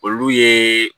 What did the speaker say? Olu ye